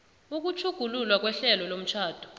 ukutjhugululwa kwehlelo lomtjhado